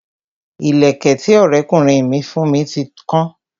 Ìlẹ̀kẹ̀ tí Ọrẹ kunrin mi fún mi ti kan